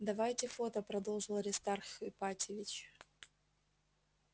давайте фото продолжил аристарх ипатьевич